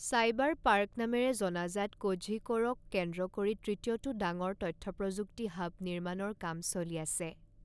Cyberpark নামেৰে জনাজাত কোঝিকড়ক কেন্দ্ৰ কৰি তৃতীয়টো ডাঙৰ তথ্য প্ৰযুক্তি হাব নিৰ্মাণৰ কাম চলি আছে।